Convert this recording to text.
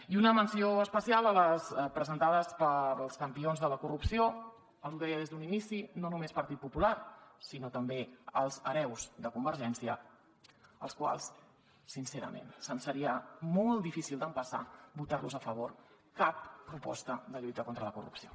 i una menció especial a les presentades pels campions de la corrupció els ho deia des d’un inici no només partit popular sinó també els hereus de convergència als quals sincerament se’ns faria molt difícil d’empassar votar los a favor cap proposta de lluita contra la corrupció